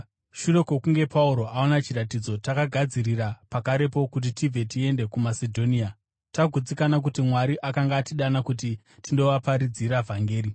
Shure kwokunge Pauro aona chiratidzo, takagadzirira pakarepo kuti tibve tiende kuMasedhonia, tagutsikana kuti Mwari akanga atidana kuti tindovaparidzira vhangeri.